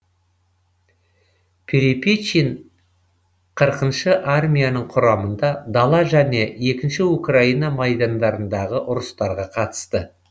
перепечин қырқыншы армияның құрамында дала және екінші украина майдандарындағы ұрыстарға қатысты